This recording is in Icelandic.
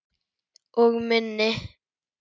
Og minni.